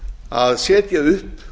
að setja upp